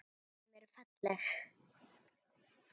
Hárin á höndunum á þér eru falleg.